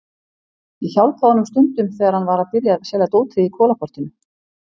Ég hjálpaði honum stundum þegar hann var að byrja að selja dótið í Kolaportinu.